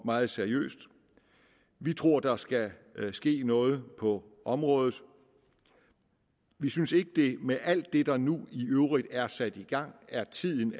meget seriøst vi tror der skal ske noget på området vi synes ikke at det med alt det der nu i øvrigt er sat i gang er tiden